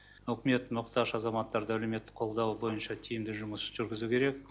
үкімет мұқтаж азаматтарды әлеуметтік қолдау бойынша тиімді жұмыс жүргізу керек